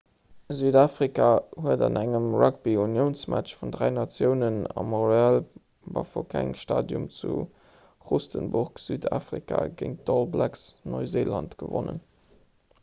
südafrika huet an engem rugbyuniounsmatch vun dräi natiounen am royal bafokeng stadium zu rustenburg südafrika géint d'all blacks neuseeland gewonnen